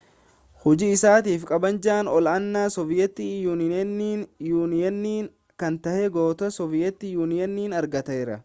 hojii isaatiif kabaja ol-aanaa sooviyeet yuuniyen kan ta'e goota sooviyeet yuuniyen argateera